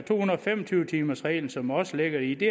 fem og tyve timers reglen som også ligger i det